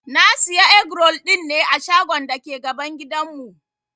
Na Siya egg-roll dinne a shagon dake gaban gidan mu.